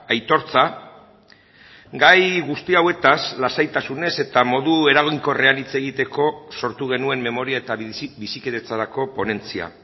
aitortza gai guzti hauetaz lasaitasunez eta modu eraginkorrean hitz egiteko sortu genuen memoria eta bizikidetzarako ponentzia